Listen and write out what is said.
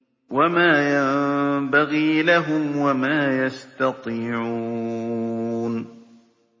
وَمَا يَنبَغِي لَهُمْ وَمَا يَسْتَطِيعُونَ